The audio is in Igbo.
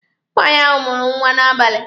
Nwaanyị ahụ mụrụ nwa n'abali.